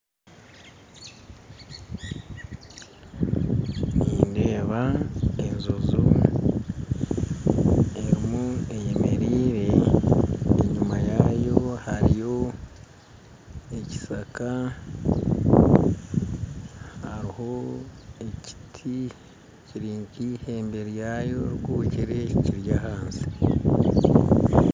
Nindeeba enjojo erimu eyemerire enyima yaayo hariyo ekishaka hariho ekiti kiri keihembe ryayo rikukire kiri ahansi